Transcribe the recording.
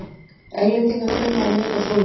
Englendingar kunna að meta svoleiðis.